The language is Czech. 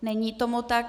Není tomu tak.